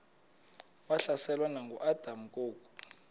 wahlaselwa nanguadam kok